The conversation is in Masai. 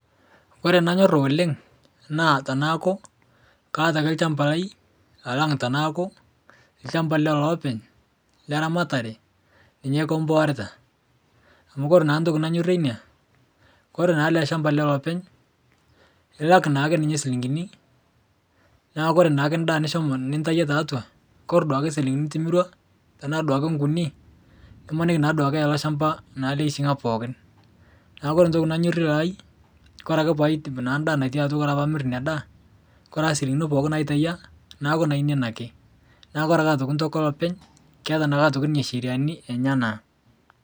Ore enangata oleng na tanaaku kaata ake olchamba lai alang tanaaku lchambai openy leramatare ninye kimpoorita amu ore entoki nanyorie ina ore ele shamba lolopeny ilak akeenye nchilingini neakubore naake endaa nintawuo tiatua kore naduo shilingini nitimirua tanaduake nkuni imaniki na eyawa olchamba naduo pookin neaku ore entoki nanyorie olalai ore ake paidip enda natii atua ore pamir ina daa ore asili pookin naitawuo neaku nainei ake ore entoki olopeny keeta ncheriani enyenak.